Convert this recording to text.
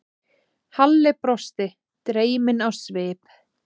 Halli brosti, dreyminn á svip.